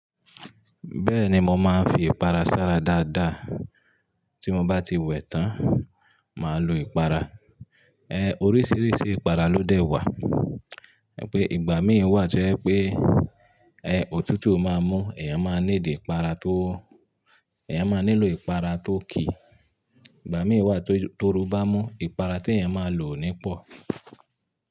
Bẹ́ẹ̀ni, mo máa ń fi ìpara sára dáadáa. Tí mo bá ti wẹ̀ tán, màá lo ìpara. Ẹ, oríṣiríṣi ìpara ló dẹ̀ wà. Ẹ pé ìgbà míì wà tí ẹ pé ẹ, òtútù ma mú, ẹ̀eyàn máa ni need ìpara tó, ẹ̀eyàn máa nílò ìpara tó ki. Ìgbà míì wà tó oorú bá mú, ìpara tí ẹ̀eyàn máa lò nípọ̀.